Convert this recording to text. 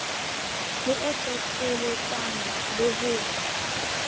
le e hlohleletsang le ho